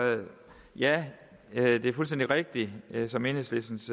ja det er fuldstændig rigtigt som enhedslistens